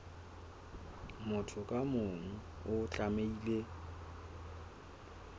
motho ka mong o tlamehile